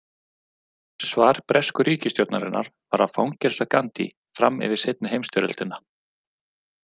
Svar bresku ríkisstjórnarinnar var að fangelsa Gandhi fram yfir seinni heimsstyrjöldina.